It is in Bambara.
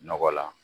Nɔgɔ la